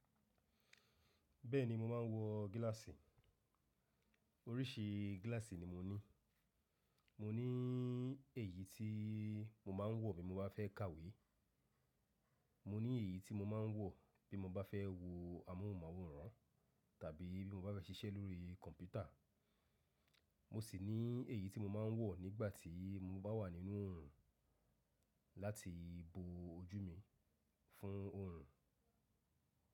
Bẹ́ẹ̀ni mo máa ń wọ gíláàsì. Oríṣi gíláàsì ni mo ní. Mo ní èyí tí mo máa ń wọ bí mo bá fẹ́ kàwé, mo ní èyí tí mo máa ń wọ bí mo bá fẹ́ wo amóhùnmáwòrán tàbí bí mo bá fẹ́ ṣiṣẹ́ lórí kọ̀mpútà. Mo sì ní èyí tí mo máa ń wọ nígbà tí mo bá wà nínú òòrùn láti bo ojú mi fún òòrùn.